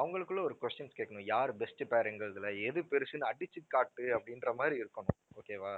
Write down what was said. அவங்களுக்குள்ள ஒரு questions கேட்கணும் யாரு best pair ங்கிறதுல எது பெருசுன்னு அடிச்சு காட்டு அப்படின்ற மாதிரி இருக்கணும். okay வா